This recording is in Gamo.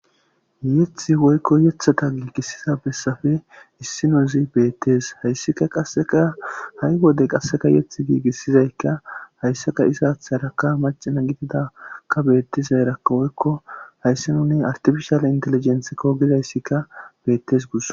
yethi woykko yethota giigissiza bessafe issi nuzi beettees hayssika qasseka ha7i wodey qasseka yeth giigissizaykka hayssaka isaatharakka macina gididakka beettizayrakka woykko hayssi nuni artifishale inteligenthekko gizayssikka bettes gus